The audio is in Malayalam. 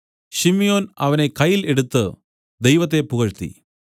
ശിമ്യോൻ അവനെ കയ്യിൽ എടുത്തു ദൈവത്തെ പുകഴ്ത്തി